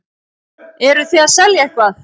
Eruð þið að selja eitthvað?